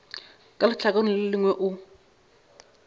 ka lehlakoreng le lengwe o